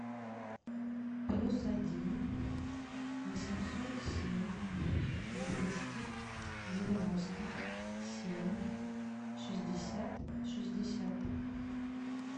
плюс один восемьсот семь двести девяносто семь шестьдесят шестьдесят